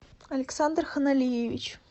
александр ханалиевич